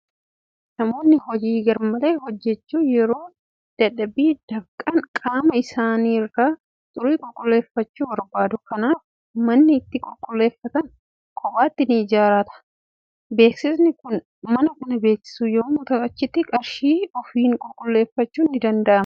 Namoonni hojii garmalee hojjetanii yeroo dadhabanii dafqan, qaama isaanii irraa xurii qulqulleeffachuu barbaadu. Kanaafuu manni itti qulqulleeffatan kophaatti ni jiraata. Beeksisni kun kana kan beeksisu yommuu ta'u, achitti qarshii ofiin qulqulleeffachuun ni danda'ama.